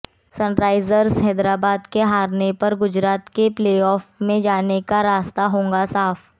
Sunrisers Hyderabad के हारने पर गुजरात का प्लेऑफ में जाने का रास्ता होगा साफ